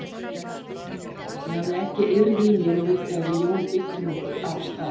Ég hafði ekki eirð í mér og vildi að við Jón byggjum okkur af stað.